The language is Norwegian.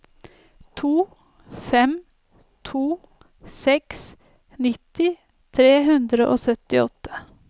to fem to seks nitti tre hundre og syttiåtte